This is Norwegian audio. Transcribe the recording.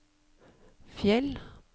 Fjell